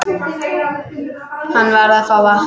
Hann varð að fá vatn.